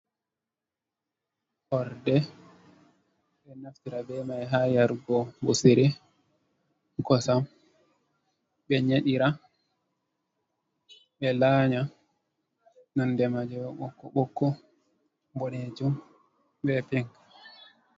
Horɗe ɓe naftira be mai ha yarugo ɓosiri kosam ɓe nyedira ɓe lanya nonɗe ma je ɓokko ɓokko boɗejum be pink.